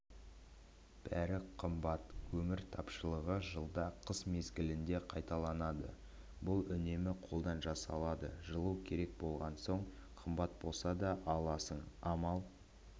бәрі қымбат көмір тапшылығы жылда қыс мезгілінде қайталанады бұл үнемі қолдан жасалады жылу керек болған соң қымбат болса да аласың амал